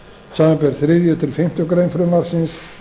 samanber þriðju til fimmtu grein frumvarpsins